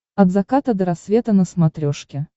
от заката до рассвета на смотрешке